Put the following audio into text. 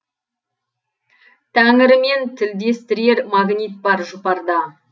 тәңірімен тілдестірер магнит бар жұпарда